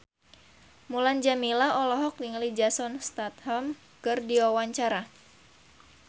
Mulan Jameela olohok ningali Jason Statham keur diwawancara